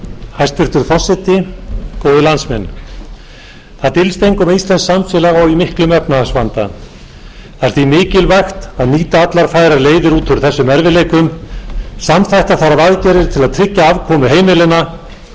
hæstvirtur forseti góðir landsmenn það dylst engum að íslenskt samfélag á í miklum efnahagsvanda það er því mikilvægt að nýta allar færar leiðir út úr þessum erfiðleikum samþætta þarf aðgerðir til að tryggja afkomu heimilanna auka atvinnu og tekjur en